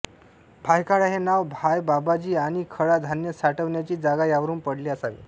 भायखळा हे नाव भाय बाबाजी आणि खळा धान्य साठविण्याची जागा यावरून पडले असावे